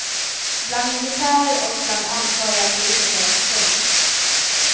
Bland militärer och bland ansvariga politiker. punkt